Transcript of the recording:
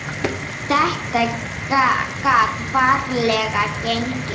Þetta gat varla gengið.